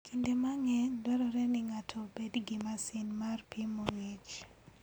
Kinde mang'eny dwarore ni ng'ato obed gi masin mar pimo ngi'ch.